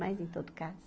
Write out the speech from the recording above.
Mas, em todo caso.